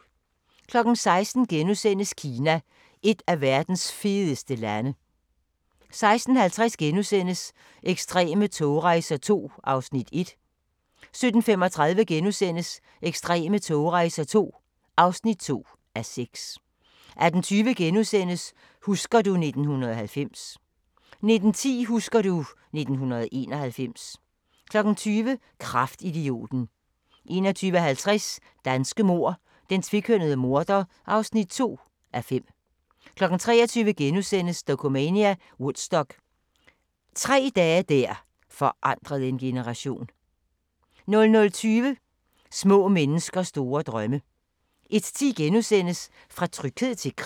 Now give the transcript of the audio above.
16:00: Kina – et af verdens fedeste lande * 16:50: Ekstreme togrejser II (1:6)* 17:35: Ekstreme togrejser II (2:6)* 18:20: Husker du ... 1990 * 19:10: Husker du ... 1991 20:00: Kraftidioten 21:50: Danske mord: Den tvekønnede morder (2:5) 23:00: Dokumania: Woodstock – tre dage der forandrede en generation * 00:20: Små mennesker store drømme 01:10: Fra tryghed til krig *